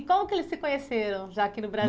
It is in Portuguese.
E como que eles se conheceram já aqui no